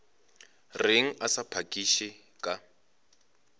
reng a sa phakiše ka